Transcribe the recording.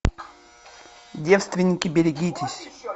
девственники берегитесь